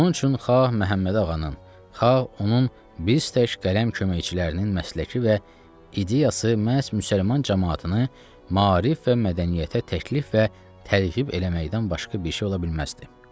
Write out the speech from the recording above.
Onun üçün xaq Məhəmməd Ağanın, xaq onun biz tək qələm köməkçilərinin məsləki və ideyası məhz müsəlman camaatını maarif və mədəniyyətə təklif və təlhif eləməkdən başqa bir şey ola bilməzdi.